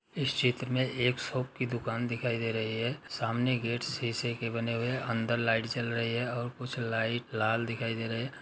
इस चित्र मे एक शॉप की दुकान दिखाई दे रही है। सामने गेट शीशे के बने हुए है। अंदर लाइट जल रही है और कुछ लाइट लाल दिखाई दे रहे है।